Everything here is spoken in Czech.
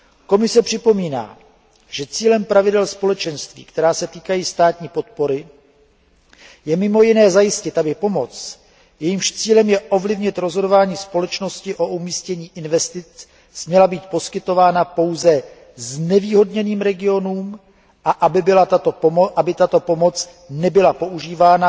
Komise připomíná, že cílem pravidel Společenství, která se týkají státní podpory, je mimo jiné zajistit, aby pomoc, jejímž cílem je ovlivnit rozhodování společností o umístění investic, směla být poskytována pouze znevýhodněným regionům a aby tato pomoc nebyla používána